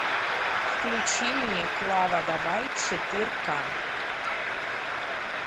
включи мне клава давай четырка